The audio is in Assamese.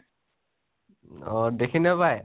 অ', দেখি নাপাই?